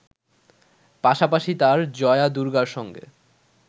পাশাপাশি তাঁর জয়া দুর্গার সঙ্গে